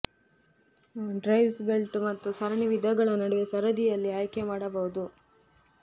drives belt ಮತ್ತು ಸರಣಿ ವಿಧಗಳ ನಡುವೆ ಸರದಿಯಲ್ಲಿ ಆಯ್ಕೆ ಮಾಡಬಹುದು